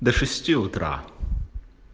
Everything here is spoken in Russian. до утра